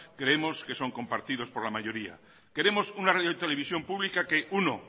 creemos que son compartidos por la mayoría queremos una radio televisión pública que uno